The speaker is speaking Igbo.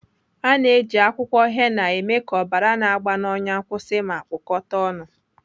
Ana eji akwụkwọ henna eme ka ọbara na-agba n'ọnyà kwụsị ma kpụkata ọnụ.